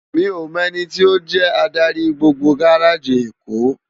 Mi ó mò èniti ó jè ádári gbógbó gáráji Ékó